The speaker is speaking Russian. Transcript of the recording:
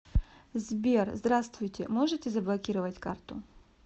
сбер здравствуйте можете заблокировать карту